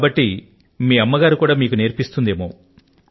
మరి మీ అమ్మగారు మీకు నేర్పిస్తారు కూడానా